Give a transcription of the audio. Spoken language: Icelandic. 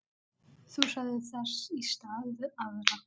Þusaði þess í stað við aðra.